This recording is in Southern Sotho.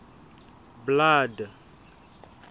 blood